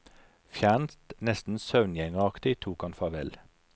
Fjernt, nesten søvngjengeraktig tok han farvel.